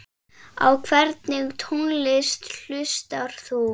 Á hvernig tónlist hlustar þú?